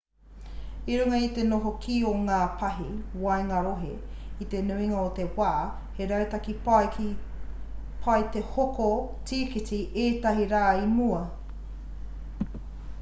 i runga i te noho kī o ngā pahi waenga-rohe i te nuinga o ngā wā he rautaki pai te hoko tīkiti ētahi rā i mua